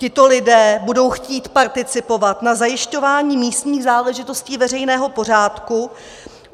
Tito lidé budou chtít participovat na zajišťování místních záležitostí veřejného pořádku.